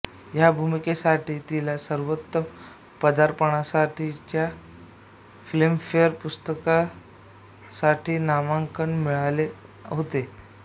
ह्या भूमिकेसाठी तिला सर्वोत्तम पदार्पणासाठीच्या फिल्मफेअर पुरस्कारासाठी नामांकन मिळाले होते